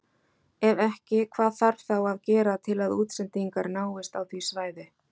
Ef ekki hvað þarf þá að gera til að útsendingar náist á því svæði?